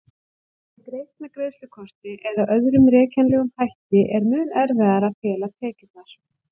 Sé greitt með greiðslukorti eða öðrum rekjanlegum hætti er mun erfiðara að fela tekjurnar.